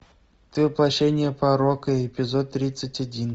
ты воплощение порока эпизод тридцать один